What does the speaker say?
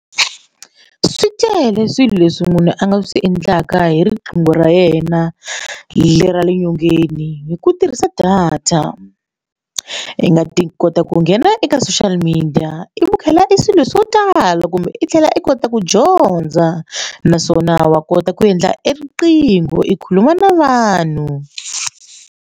Swi tele swilo leswi munhu a nga swi endlaka hi riqingho ra yena le ra le nyongeni hi ku tirhisa data i nga ti kota ku nghenela eka social media i ku khela i swilo swo tala kumbe i tlhela i kota ku dyondza naswona wa kota ku endla eriqingho i khuluma na vanhu.